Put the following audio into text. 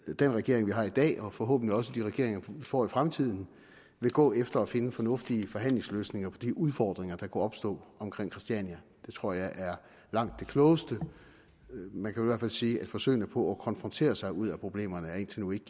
den regering vi har i dag og forhåbentlig også de regeringer vi får i fremtiden vil gå efter at finde fornuftige forhandlingsløsninger på de udfordringer der kunne opstå omkring christiania det tror jeg er langt det klogeste man kan i hvert fald sige at forsøgene på at konfrontere sig ud af problemerne indtil nu ikke